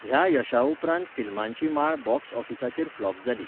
ह्या यशा उपरांत फिल्मांची माळ बॉक्स ऑफिसाचेर फ्लॉप जाली.